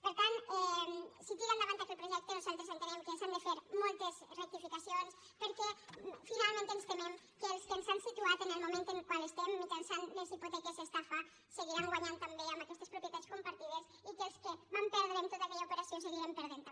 per tant si tira endavant aquest projecte nosaltres entenem que s’hi han de fer moltes rectificacions perquè finalment ens temem que els que ens han situat en el moment en el qual estem mitjançant les hipoteques estafa seguiran guanyanthi també amb aquestes propietats compartides i que els que vam perdre en tota aquella operació hi seguirem perdent també